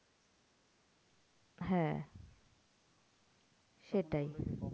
হ্যাঁ সেটাই